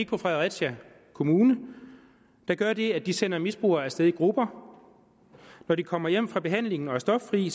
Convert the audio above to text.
på fredericia kommune der gør det at de sender misbrugere afsted i grupper når de kommer hjem fra behandlingen og er stoffri